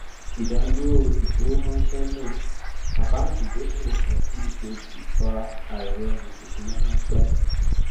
ìdádúró ìfowóránse náà àkáńtì ìdókòwò kan sí èkejì fa àìròrun ìṣúná ránpẹ